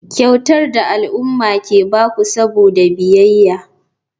Kyautar da al'umma ke ba ku saboda biyayya.